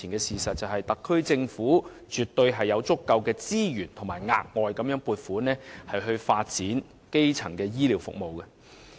事實擺在眼前，特區政府絕對有足夠的資源額外撥款發展基層醫療服務。